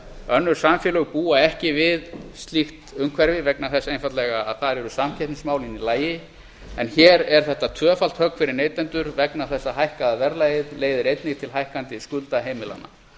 önnur samfélög búa ekki við slíkt umhverfi vegna þess einfaldlega að þar eru samkeppnismálin í lagi en hér er þetta tvöfalt högg fyrir neytendur vegna þess að hækkaða verðlagið leiðir einnig til hækkandi skulda heimilanna